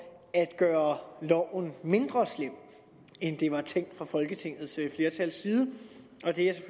at gøre loven mindre slem end den var tænkt fra folketingets flertals side og det er